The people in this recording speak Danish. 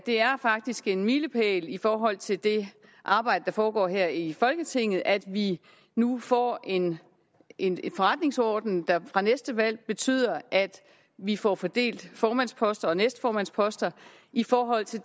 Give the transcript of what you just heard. er faktisk en milepæl i forhold til det arbejde der foregår her i folketinget at vi nu får en en forretningsorden der fra næste valg betyder at vi får fordelt formandsposter og næstformandsposter i forhold til